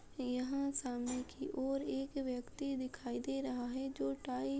यहाँ सामने की ओर एक व्यक्ति दिखाई दे रहा है जो टाई --